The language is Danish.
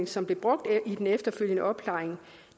som blev brugt i den efterfølgende opklaring